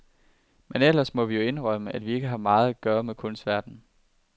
Men ellers må vi jo indrømme, at vi ikke har meget med kunstverdenen at gøre.